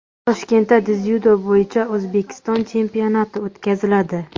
Toshkentda dzyudo bo‘yicha O‘zbekiston chempionati o‘tkaziladi.